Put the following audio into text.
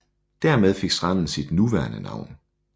Dermed fik stranden sit nuværende navn